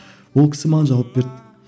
ол кісі маған жауап берді